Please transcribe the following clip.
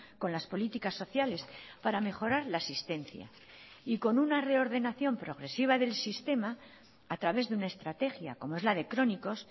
con las políticas sociales para mejorar la asistencia y con una reordenación progresiva del sistema a través de una estrategia como es la de crónicos